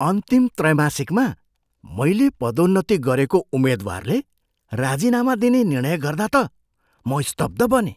अन्तिम त्रैमासिकमा मैले पदोन्नति गरेको उम्मेद्वारले राजीनामा दिने निर्णय गर्दा त म स्तब्ध बनेँ।